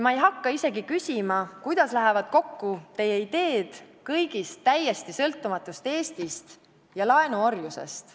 Ma ei hakka isegi küsima, kuidas lähevad kokku teie ideed kõigist täiesti sõltumatust Eestist ja laenuorjusest.